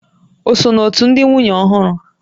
O so n'òtù ndị nwunye ọhụrụ